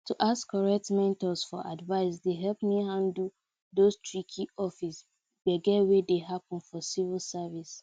to ask correct mentors for advice dey help me handle those tricky office gbege wey dey happen for civil service